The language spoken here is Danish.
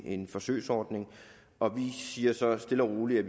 en forsøgsordning og vi siger så stille og roligt at